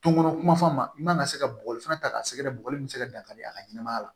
Donkɔnɔ kuma fɔ a ma i mana se ka bɔgɔli fana ta k'a sɛgɛrɛ bɔgɔ min bɛ se ka dankari a ka ɲɛnɛmaya la